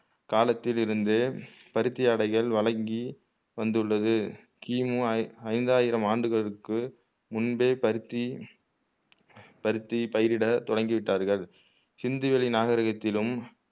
காலத்தில் இருந்தே பருத்தி ஆடைகள் வழங்கி வந்துள்ளது கிமு ஐந்தாயிரம் ஆண்டுகளுக்கு முன்பே பருத்தி பருத்தி பயிரிட தொடங்கி விட்டார்கள் சிந்துவெளி நாகரிகத்திலும்